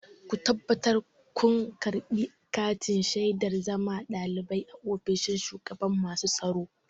Ku tabbatar kun karɓi katin shaidar zama ɗalibi a ofishin shugaban masu tsaro!